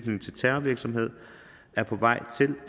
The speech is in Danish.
terrorvirksomhed er på vej til